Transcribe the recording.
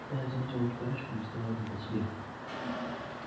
когда я заметил эту парочку мне стало не по себе